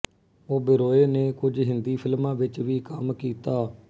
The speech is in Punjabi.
ਓਬੇਰੋਏ ਨੇ ਕੁਝ ਹਿੰਦੀ ਫਿਲਮਾਂ ਵਿੱਚ ਵੀ ਕੰਮ ਕੀਤਾ